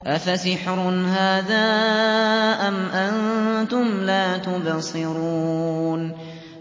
أَفَسِحْرٌ هَٰذَا أَمْ أَنتُمْ لَا تُبْصِرُونَ